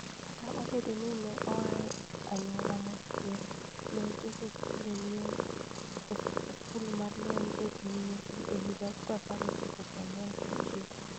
Kata obedo ni ne oa e anyuola modhier, ne otieko skul mar lweny e piny Misri e higa 1949.